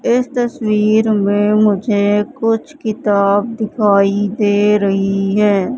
इस तस्वीर में मुझे कुछ किताब दिखाई दे रही है।